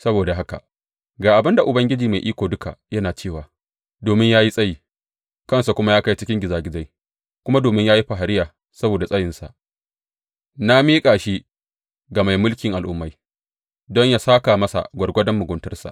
Saboda haka ga abin da Ubangiji Mai Iko Duka yana cewa domin ya yi tsayi, kansa kuma ya kai cikin gizagizai, kuma domin ya yi fariya saboda tsayinsa, na miƙa shi ga mai mulkin al’ummai, don yă sāka masa gwargwadon muguntarsa.